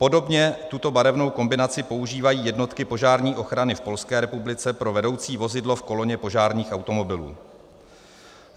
Podobně tuto barevnou kombinaci používají jednotky požární ochrany v Polské republice pro vedoucí vozidlo v koloně požárních automobilů.